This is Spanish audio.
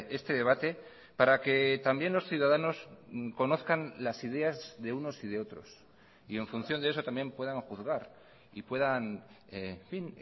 este debate para que también los ciudadanos conozcan las ideas de unos y de otros y en función de eso también puedan juzgar y puedan en fin